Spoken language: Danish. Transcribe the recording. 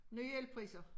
Nye elpriser